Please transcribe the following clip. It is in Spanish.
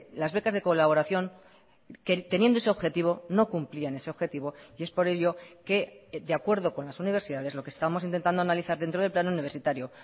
las becas de colaboración que teniendo ese objetivo no cumplían ese objetivo y es por ello que de acuerdo con las universidades lo que estamos intentando analizar dentro del plan universitario